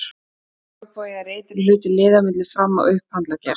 Orðið olnbogi er ytri hluti liðar milli fram- og upphandleggjar.